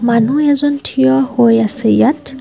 মানুহ এজন থিয় হৈ আছে ইয়াত।